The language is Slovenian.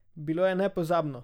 Bilo je nepozabno!